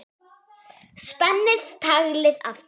Spenni taglið aftur.